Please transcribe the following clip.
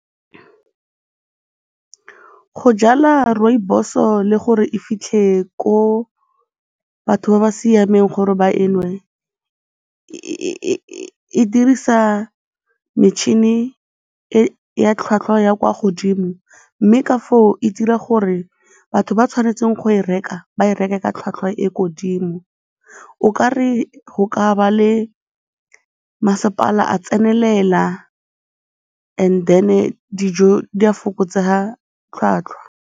Go jala rooibos-o le gore e fitlhe ko batho ba ba siameng gore ba e nwe e dirisa metšhini ya tlhwatlhwa ya kwa godimo mme ka foo e dira gore batho ba tshwanetseng go e reka, ba e reke ka tlhwatlhwa e ko godimo. O kare go ka ba le masepala a tsenelela and then-e dijo tsa fokotsega tlhwatlhwa.